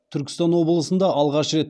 түркістан облысында алғаш рет